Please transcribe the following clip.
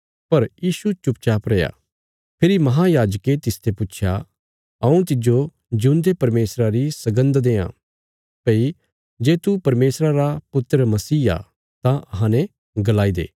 पर यीशु चुप रैया फेरी महायाजके तिसते पुच्छया हऊँ तिज्जो जिऊंदे परमेशरा री सगन्द देआं भई जे तू परमेशरा रा पुत्र मसीह आ तां अहां ने गलाईदे